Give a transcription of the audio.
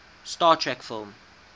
star trek film